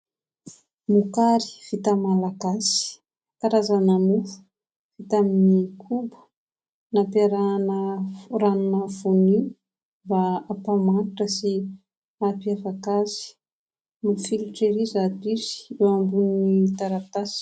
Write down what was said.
Mokary vita malagasy : karazana mofo vita amin'ny koba, nampiarahana ranona voanio mba hampamanitra sy hampiavaka azy, mafilotra ery izato izy eo ambonin'ny taratasy.